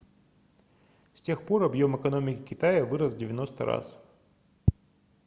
с тех пор объем экономики китая вырос в 90 раз